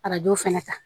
Arajo fɛnɛ ta